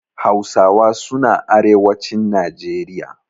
Hausawa suna arewacin Najeriya.